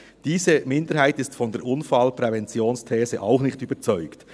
Diese Minderheit ist von der Unfallpräventionsthese auch nicht überzeugt.